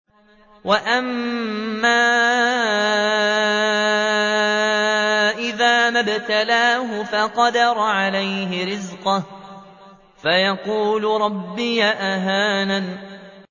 وَأَمَّا إِذَا مَا ابْتَلَاهُ فَقَدَرَ عَلَيْهِ رِزْقَهُ فَيَقُولُ رَبِّي أَهَانَنِ